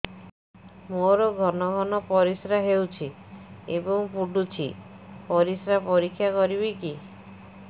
ମୋର ଘନ ଘନ ପରିସ୍ରା ହେଉଛି ଏବଂ ପଡ଼ୁଛି ପରିସ୍ରା ପରୀକ୍ଷା କରିବିକି